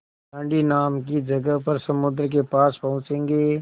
दाँडी नाम की जगह पर समुद्र के पास पहुँचेंगे